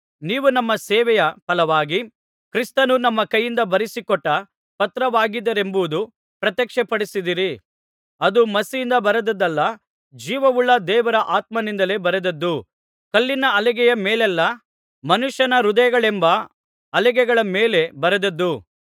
ನೀವು ನಮ್ಮ ಸೇವೆಯ ಫಲವಾಗಿ ಕ್ರಿಸ್ತನು ನಮ್ಮ ಕೈಯಿಂದ ಬರೆಸಿಕೊಟ್ಟ ಪತ್ರವಾಗಿದ್ದೀರೆಂಬದು ಪ್ರತ್ಯಕ್ಷಪಡಿಸಿದ್ದೀರಿ ಅದು ಮಸಿಯಿಂದ ಬರೆದದ್ದಲ್ಲ ಜೀವವುಳ್ಳ ದೇವರ ಆತ್ಮನಿಂದಲೇ ಬರೆದದ್ದು ಕಲ್ಲಿನ ಹಲಿಗೆಯ ಮೇಲಲ್ಲಾ ಮನುಷ್ಯನ ಹೃದಯಗಳೆಂಬ ಹಲಿಗೆಗಳ ಮೇಲೆ ಬರೆದದ್ದು